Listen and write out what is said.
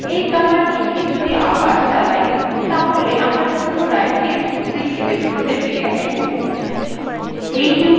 এই কমান্ডটিকে যদি আবার চালাই তাহলে আমরা পুনরায় testtree ডিরেক্টরীতে ফিরে আসব